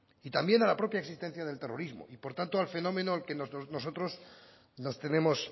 y también a la propia existencia del terrorismo y por tanto al fenómeno al que nosotros nos tenemos